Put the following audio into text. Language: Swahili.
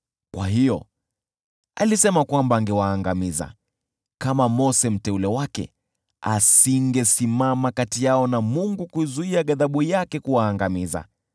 Kwa hiyo alisema kwamba angewaangamiza: kama Mose mteule wake, asingesimama kati yao na Mungu kuizuia ghadhabu yake kuwaangamiza.